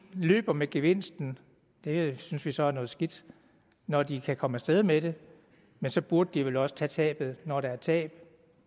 løber med gevinsten det synes vi så er noget skidt når de kan komme af sted med det men så burde de vel også tage tabet når der er tab